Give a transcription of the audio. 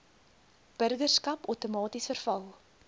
burgerskap outomaties verval